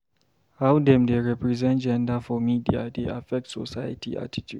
How dem dey represent gender for media dey affect society attitude.